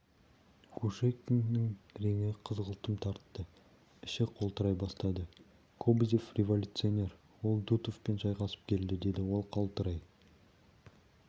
кушекиннің реңі қызғылтым тартты іші қалтырай бастады кобозев революционер ол дутовпен шайқасып келді деді ол қалтырай